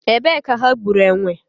Ebe ka ha gburu enwe?